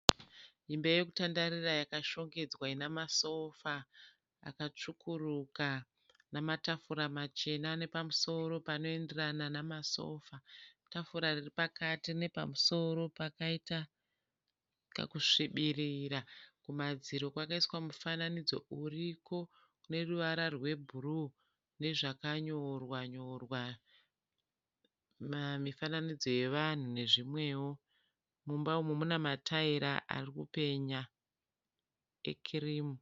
Imba yekutandarira yakashongedzwa inamasofa akatsvukuruka namatafura machena ane pamusoro panoenderana nemasofa. Tafura riripakati rine pamusoro pakaita kakusvibirira. Kumadziro kwakaiswa mufananidzo iriko uneruvara rwebhuruwu nezvakanyorwa nyorwa mifananidzo yevanhu nezvimwewo. Mumba umu mune mataira arikupenya ekirimu.